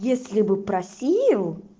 если бы просил